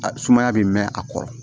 A sumaya bɛ mɛn a kɔrɔ